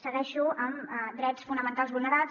segueixo amb drets fonamentals vulnerats